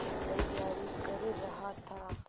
तैयारी कर रहा था